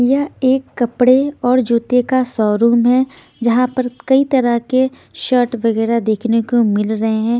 यह एक कपड़े और जूते का शोरूम है जहां पर कई तरह के शर्ट वगैरह देखने को मिल रहे हैं।